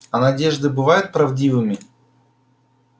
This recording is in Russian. а надежды бывают правдивыми